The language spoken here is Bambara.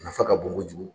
Nafa ka bon kojugu